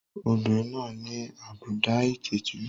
Obìnrin náà ní àbùdá ìtìjú.